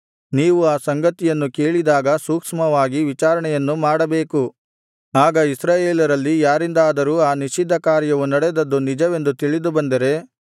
ನೀವು ಆ ಸಂಗತಿಯನ್ನು ಕೇಳಿದಾಗ ಸೂಕ್ಷ್ಮವಾಗಿ ವಿಚಾರಣೆಯನ್ನು ಮಾಡಬೇಕು ಆಗ ಇಸ್ರಾಯೇಲರಲ್ಲಿ ಯಾರಿಂದಾದರೂ ಆ ನಿಷಿದ್ಧಕಾರ್ಯವು ನಡೆದದ್ದು ನಿಜವೆಂದು ತಿಳಿದು ಬಂದರೆ